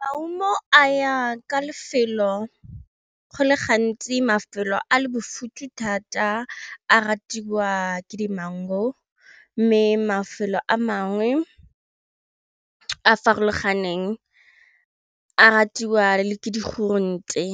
Maungo a ya ka lefelo go le gantsi mafelo a le bofuthu thata a ratiwa ke dimengu mme mafelo a mangwe a farologaneng a ratiwa le ke di grounte